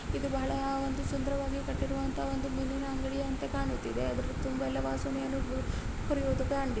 ಇದು ಬಹಳ ಒಂದು ಸುಂದರವಾಗಿ ಕಟ್ಟಿರುವಂತಹ ಒಂದು ಮೀನಿನ ಅಂಗಡಿಯಂತೆ ಕಾಣುತ್ತಿದೆ. ಅದರ ತುಂಬಾ ಎಲ್ಲಾ ವಾಸ ಮೀನುಗಳು ಹರಿಯುವುದು ಖಂಡಿ--